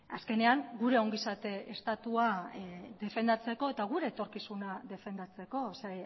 azkenean gure ongizate estatua defendatzeko eta gure etorkizuna defendatzeko ze